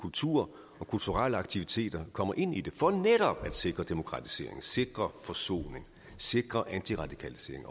kultur og kulturelle aktiviteter kommer ind af den for netop at sikre demokratisering sikre forsoning sikre antiradikalisering